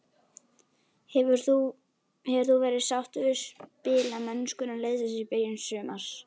Hefur þú verið sáttur við spilamennskuna liðsins í byrjun sumars?